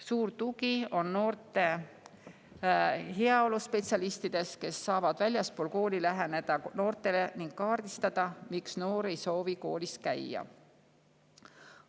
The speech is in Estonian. Suur tugi on noorte heaolu spetsialistidest, kes saavad väljaspool kooli noortele läheneda ning kaardistada, miks noor ei soovi koolis käia.